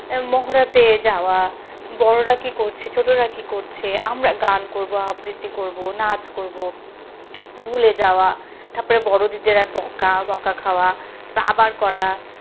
মহরাতে যাওয়া বড়রা কি করছে ছোটরা কি করছে আমরা গান করব আবৃত্তি করব নাচ করব ভুলে যাওয়া তার পরে বড় দিদিরা বকা বকা খাওয়া আবার করা,